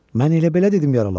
Mən elə belə dedim yaralanıb.